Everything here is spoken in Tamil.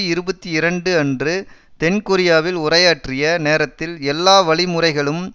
இருபத்தி இரண்டு அன்று தென்கொரியாவில் உரையாற்றிய நேரத்தில் எல்லா வழிமுறைகளும்